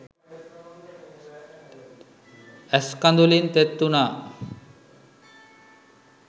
ඇස් කදුළින් තෙත් උනා.